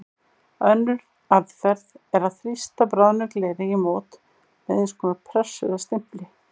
Önnur aðferð er að þrýsta bráðnu gleri í mót með eins konar pressu eða stimpli.